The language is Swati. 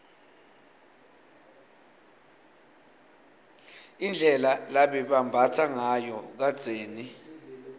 indlela lababembatsangayo kadzeni